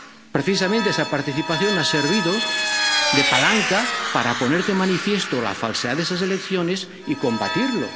Precisamente esa participación ha servido de palanca para poner de manifiesto la falsedad de esas elecciones y combatirlo.